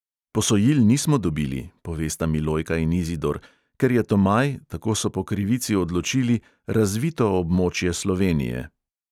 Posojil nismo dobili," povesta milojka in izidor, "ker je tomaj, tako so po krivici odločili, razvito območje slovenije."